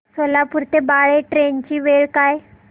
सोलापूर ते बाळे ट्रेन ची वेळ काय आहे